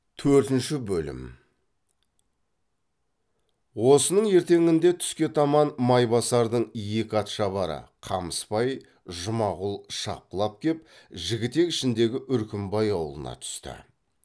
төртінші бөлім осының ертеңінде түске таман майбасардың екі ат шабары қамысбай жұмағұл шапқылап кеп жігітек ішіндегі үркімбай аулына түсті